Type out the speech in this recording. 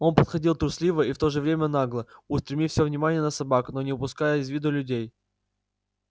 он подходил трусливо и в то же время нагло устремив всё внимание на собак но не упуская из виду и людей